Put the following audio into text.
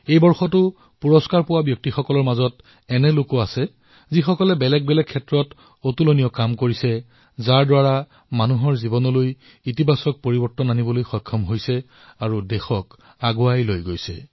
এই বছৰো পুৰষ্কাৰ পোৱা লোকসমূহৰ ভিতৰত সেই সকলৰ নাম অন্তৰ্ভুক্ত আছে যিয়ে বিভিন্ন ক্ষেত্ৰত উন্নত কাম কৰিছে আৰু নিজৰ কামৰ দ্বাৰা অন্যৰ জীৱন পৰিৱৰ্তিত কৰিছে দেশক আগুৱাই নিছে